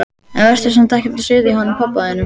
En vertu samt ekkert að suða í honum pabba þínum.